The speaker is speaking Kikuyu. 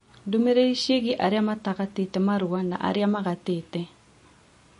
ndũmĩrĩri ciĩgiĩ arĩa magatĩte marũa na arĩa matagatĩte